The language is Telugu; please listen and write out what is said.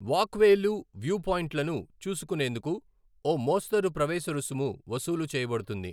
వాక్వేలు, వ్యూపాయింట్లను చూసుకునేందుకు ఓ మోస్తరు ప్రవేశ రుసుము వసూలు చేయబడుతుంది.